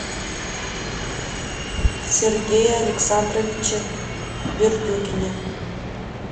сергее александровиче бердюгине